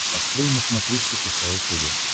открой на смотрешке кхл тв